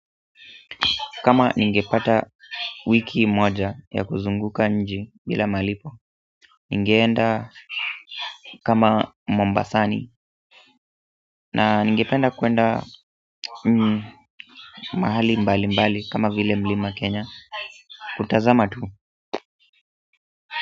Kama ningepata wiki moja ya kuzunguka nje bila malipo. Ningeenda kama Mombasani na ningependa kwenda mahali mbalimbali kama vile mlima Kenya kutazama tu.